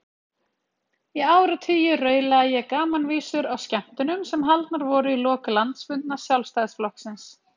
Í áratugi raulaði ég gamanvísur á skemmtunum sem haldnar voru í lok landsfunda Sjálfstæðisflokksins.